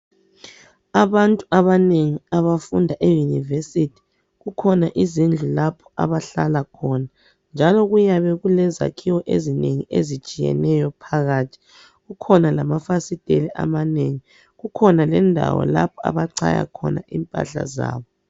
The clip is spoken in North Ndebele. Abantu abanengi abafunda e university kukhona izindlu lapho abahlala khona njalo kuyabe kulezakhiwo ezinengi ezitshiyeneyo phakathi kukhona lamafasiteli amanengi kukhona lendawo lapho abachaya khona impahla zabo.